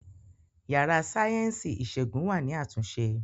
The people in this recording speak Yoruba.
Yàrá sáyẹ́ǹsì ìṣègùn wà ní àtúnṣe